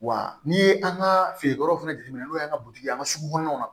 Wa n'i ye an ka feere yɔrɔ fɛnɛ jateminɛ n'o y'an ka butigi ye an ka sugu kɔnɔnaw la